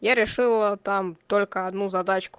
я решила там только одну задачку